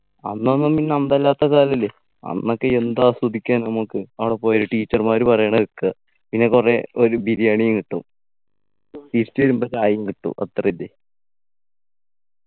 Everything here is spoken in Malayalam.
അന്നൊന്നും പിന്നെ അന്തല്ലാത്ത കാലല്ലെ അന്നൊക്കെ എന്ത് ആസ്വദിക്കാ നമുക്ക് അവിടെ പോയാ teacher മാര് പറയണ കേക്കാ പിന്നെ കൊറേ ഒരു ബിരിയാണിം കിട്ടും തിരിച്ചു വരുമ്പോ ചായേം കിട്ടും അത്രന്നെ